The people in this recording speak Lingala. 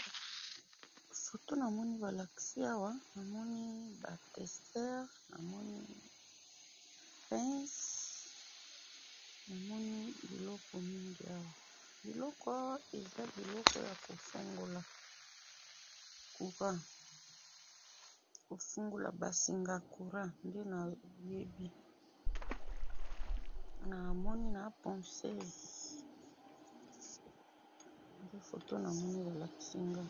Foto namoni balakisi awa, namoni ba tester, namoni pince, namoni biloko mingi awa, biloko awa, eza biloko yako fungola Courant, kofungola basinga ya Courant nde nayebi, namoni na pocese, nde foto namoni balakisi nga awa.